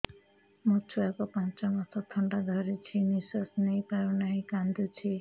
ମୋ ଛୁଆକୁ ପାଞ୍ଚ ମାସ ଥଣ୍ଡା ଧରିଛି ନିଶ୍ୱାସ ନେଇ ପାରୁ ନାହିଁ କାଂଦୁଛି